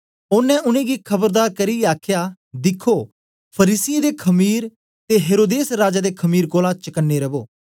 ओनें उनेंगी खबरदार करियै आखया दिखो फरीसियें दे खमीर ते हेरोदेस राजा दे खमीर कोलां चकने रवो